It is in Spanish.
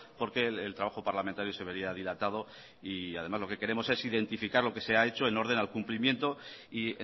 porque el trabajo parlamentario se vería dilatado y además lo que queremos es identificar lo que se ha hecho en orden al cumplimiento y